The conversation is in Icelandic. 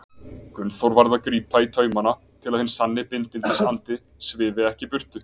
Gunnþór varð að grípa í taumana til að hinn sanni bindindisandi svifi ekki burtu.